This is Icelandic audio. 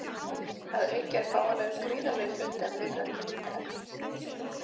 Að auki er fáanlegur gríðarlegur fjöldi af lífrænum litarefnum.